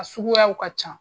A suguyaw ka can.